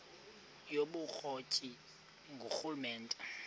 yobukro ti ngurhulumente